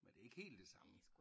Men det er ikke helt det samme